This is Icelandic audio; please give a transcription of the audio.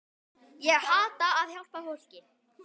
Ég elska að hjálpa fólki.